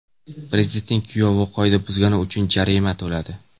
Prezidentning kuyovi qoida buzgani uchun jarima to‘ladi .